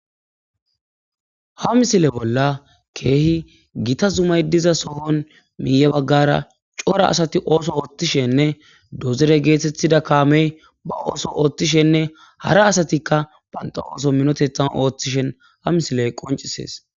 ha misile bolla keehi gita zumay diza sohon miiye baggara cora asati ooso oothtishenne dozere geethethida kaamey ba ooso oothtishenne hara asatikka banta ooso minotethan ooththishen ha misiley qoncisees